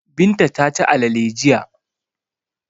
Binta ta ci alale jiya.